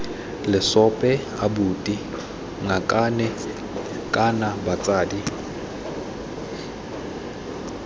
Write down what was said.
lesope abuti ngakane kana batsadi